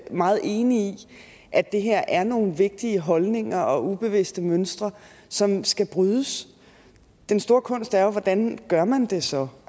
meget enig i at det her er nogle vigtige holdninger og ubevidste mønstre som skal brydes den store kunst er jo hvordan gør man det så